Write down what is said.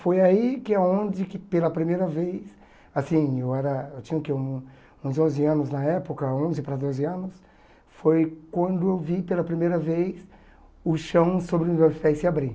Foi aí que aonde que pela primeira vez, assim, eu era eu tinha o que um uns onze anos na época, onze para doze anos, foi quando eu vi pela primeira vez o chão sobre os meus pés se abrir.